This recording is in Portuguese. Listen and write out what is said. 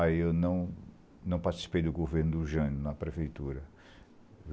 Aí eu não não participei do governo do Jânio na prefeitura.